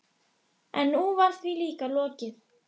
Oddi, hvað er klukkan?